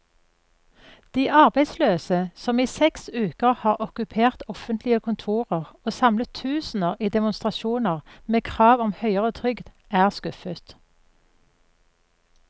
De arbeidsløse, som i seks uker har okkupert offentlige kontorer og samlet tusener i demonstrasjoner med krav om høyere trygd, er skuffet.